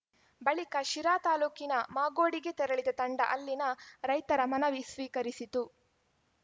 ಬಳಿಕ ಶಿರಾ ತಾಲೂಕಿನ ಮಾಗೋಡಿಗೆ ತೆರಳಿದ ತಂಡ ಅಲ್ಲಿನ ರೈತರ ಮನವಿ ಸ್ವೀಕರಿಸಿತು